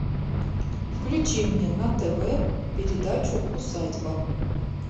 включи мне на тв передачу усадьба